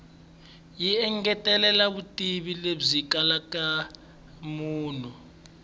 yi engetela vutivi lebyi kalelaka munhu